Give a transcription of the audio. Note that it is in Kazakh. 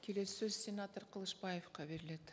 келесі сөз сенатор қылышбаевқа беріледі